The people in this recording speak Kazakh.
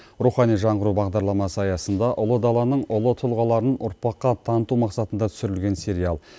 рухани жаңғыру бағдарламасы аясында ұлы даланың ұлы тұлғаларын ұрпаққа таныту мақсатында түсірілген сериал